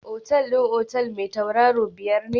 Otal din otel mai tauraro biyar ne?